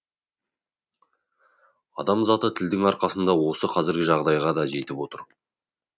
адам заты тілдің арқасында осы қазіргі жағдайға да жетіп отыр